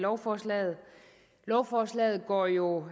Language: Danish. lovforslaget lovforslaget går jo